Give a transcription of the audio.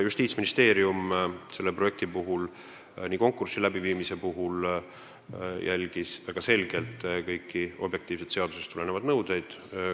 Justiitsministeerium jälgis selle projekti puhul väga selgelt kõiki objektiivseid seadusest tulenevaid nõudeid.